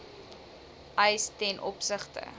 eis ten opsigte